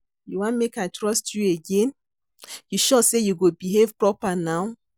You wan make I trust you again, you sure say you go behave proper now?